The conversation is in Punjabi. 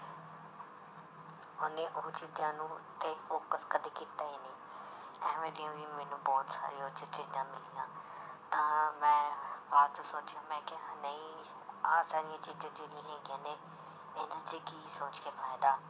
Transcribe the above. ਉਹਨੇ ਉਹ ਚੀਜ਼ਾਂ ਨੂੰ ਤੇ focus ਕਦੇ ਕੀਤਾ ਹੀ ਨਹੀਂ, ਇਵੇਂ ਦੀਆਂ ਵੀ ਮੈਨੂੰ ਬਹੁਤ ਸਾਰੀ ਉਹ 'ਚ ਚੀਜ਼ਾਂ ਮਿਲੀਆਂ ਤਾਂ ਮੈਂ ਬਾਅਦ 'ਚ ਸੋਚਿਆ ਮੈਂ ਕਿਹਾ ਨਹੀਂ ਆਹ ਸਾਰੀਆਂ ਚੀਜ਼ਾਂ ਜਿਹੜੀਆਂ ਹੈਗੀਆਂ ਨੇ ਇਹਦੇ ਤੇ ਕੀ ਸੋਚ ਕੇ ਫ਼ਾਇਦਾ